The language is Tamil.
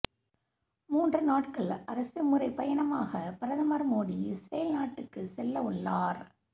மூன்று நாட்கள் அரசு முறைப்பயணமாக பிரதமர் மோடி இஸ்ரேல் நாட்டுக்கு செல்ல உள்ளார்